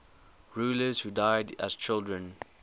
rulers who died as children